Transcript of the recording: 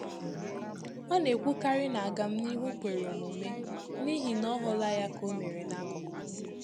Ọ na-ekwukarị ná agam n'ihu kwèrè omume, n’ihi ná ọ hụla ya ka o mere n'akụkụ